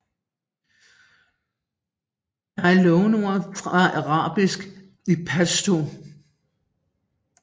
Der er låneord fra arabisk i pashto